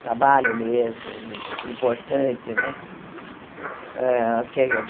Trabalho mesmo, importante, né? Hã